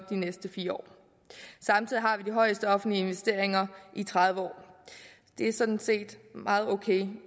de næste fire år samtidig har vi de højeste offentlige investeringer i tredive år det er sådan set meget ok i